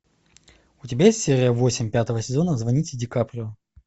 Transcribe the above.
у тебя есть серия восемь пятого сезона звоните ди каприо